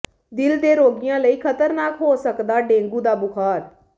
ਦਿਲ ਦੇ ਰੋਗੀਆਂ ਲਈ ਖਤਰਨਾਕ ਹੋ ਸਕਦਾ ਡੇਂਗੂ ਦਾ ਬੁਖਾਰ